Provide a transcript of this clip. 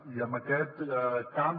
i amb aquest camp